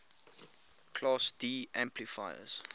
class d amplifiers